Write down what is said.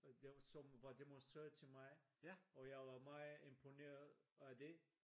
Som var demonstreret til mig og jeg var meget imponeret af det